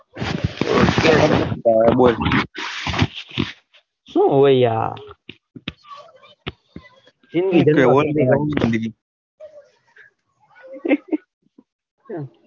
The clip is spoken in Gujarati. બોલ સુ હ યાર ચેવી રીતે બેસવું